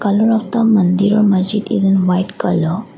colour of the mandir or masjid is in white colour.